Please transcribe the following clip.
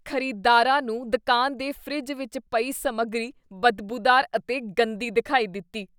ਖ਼ਰੀਦਦਾਰਾਂ ਨੂੰ ਦੁਕਾਨ ਦੇ ਫਰਿੱਜ ਵਿੱਚ ਪਈ ਸਮੱਗਰੀ ਬਦਬੂਦਾਰ ਅਤੇ ਗੰਦੀ ਦਿਖਾਈ ਦਿੱਤੀ।